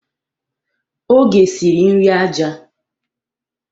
Oge siri nri aja.